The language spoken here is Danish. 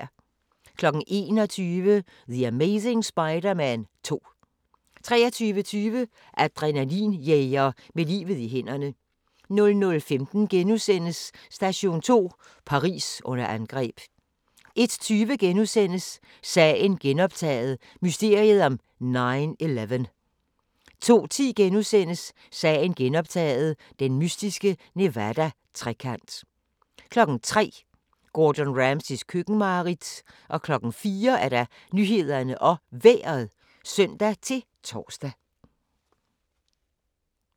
21:00: The Amazing Spider-Man 2 23:20: Adrenalin-jæger med livet i hænderne 00:15: Station 2: Paris under angreb * 01:20: Sagen genoptaget – mysteriet om 9/11 * 02:10: Sagen genoptaget – den mystiske Nevada-trekant * 03:00: Gordon Ramsays køkkenmareridt 04:00: Nyhederne og Vejret (søn-tor)